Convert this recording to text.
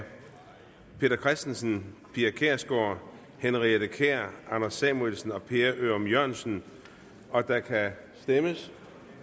peter christensen pia kjærsgaard henriette kjær anders samuelsen og per ørum jørgensen og der kan stemmes